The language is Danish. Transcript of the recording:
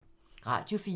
Radio 4